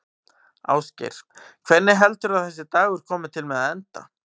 Ásgeir: Hvernig heldurðu að þessi dagur komi til með að enda?